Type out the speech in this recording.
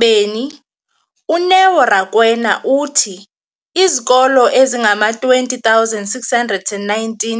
beni, uNeo Rakwena, uthi izikolo ezingama-20 619